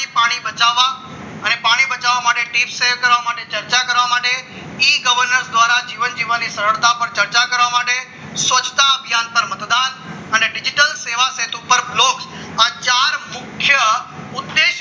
બેટી બચાવો માટે tips share કરવા માટે ચર્ચા કરવા માટે એ governor દ્વારા જીવન જીવવાની સરળતા ના ચર્ચા કરવા માટે સસ્તા અભિયાન પર મતદાન અને digital સેવા સેતુ પર બ્લોક અને ચાર મુખ્ય ઉદ્દેશ્ય